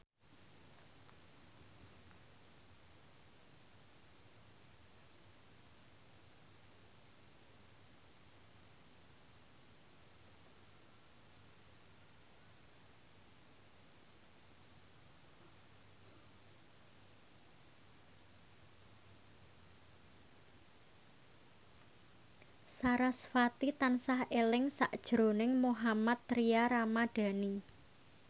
sarasvati tansah eling sakjroning Mohammad Tria Ramadhani